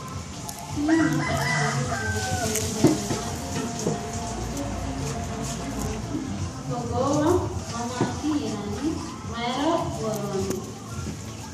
tini maa xawissanno misileeti ? mulese noori maati ? hiissinannite ise ? tini kultannori maati? togoowa mamaatti yinaanni? Mayiira woroonni?